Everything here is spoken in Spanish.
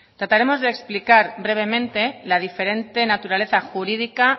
trataremos de explicar brevemente la diferente naturaleza jurídica